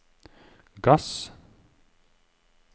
gass